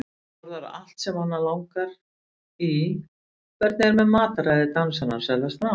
Borðar allt sem hana langar í Hvernig er með mataræði dansarans, er það strangt?